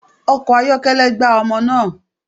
Ọkọ̀ ayọ́kẹ́lẹ́ gbá ọmọ naa